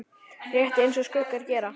Rétt eins og skuggar gera.